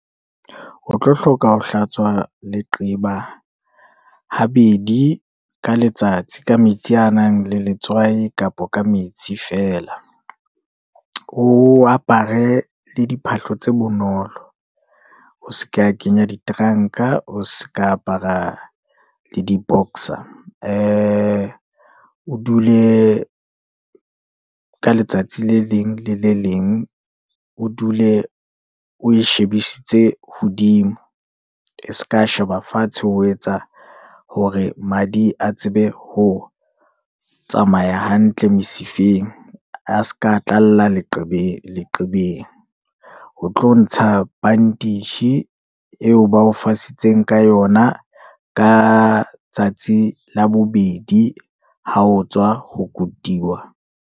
O tlo hloka ho hlatswa leqeba ha bedi ka letsatsi ka metsi anang le letswai, kapa ka metsi feela, o aparte le diphahlo tse bonolo, o seke wa kenya diteranka, oseke wa apara le di-boxer, ee o dule ka letsatsi le leng le leng, o dule o shebisetse hodimo, e seke sheba fatshe hoetsa hore madi a tsebe ho tsamaya hantle mesifeng, a seke a tlalla leqebeng, ho tlo ntsha bandage eo fasitseng ka yona, ka tsatsi la bobedi ha otswa ho kutiwa.